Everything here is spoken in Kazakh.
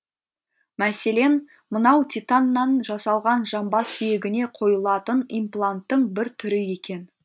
мәселен мынау титаннан жасалған жамбас сүйегіне қойылатын импланттың бір түрі екен